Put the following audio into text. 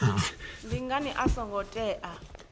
ndi ngani a songo tea